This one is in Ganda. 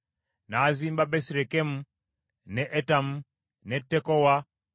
n’azimba Besirekemu, ne Etamu, ne Tekowa,